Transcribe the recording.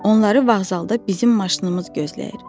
Onları vağzalda bizim maşınımız gözləyir.